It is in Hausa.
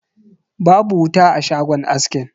Babu wuta a shagon askin.